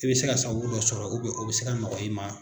I bɛ se ka san wo sɔrɔ o bɛ se ka nɔgɔya i ma.